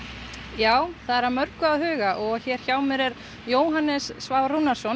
já það er að mörgu að huga og hér hjá mér er Jóhannes Svavar Rúnarsson